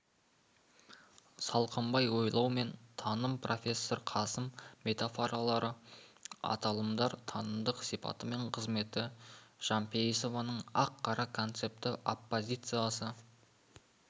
салқынбай ойлау мен таным профессор қасым метафоралы аталымдар танымдық сипаты мен қызметі жампейісованың ақ-қара концепті оппозициясы